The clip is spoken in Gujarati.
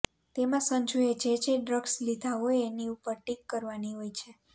તેમાં સંજુએ જે જે ડ્રગ્સ લીધા હોય એની ઉપર ટિક કરવાની હોય છે